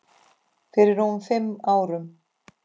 Fyrir rúmum fimm árum.